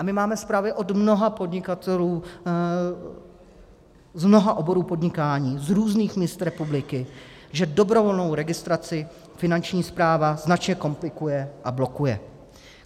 A my máme zprávy od mnoha podnikatelů, z mnoha oborů podnikání z různých míst republiky, že dobrovolnou registraci Finanční správa značně komplikuje a blokuje.